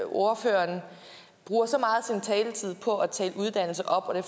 ordføreren bruger så meget af taletid på at tale uddannelse op og det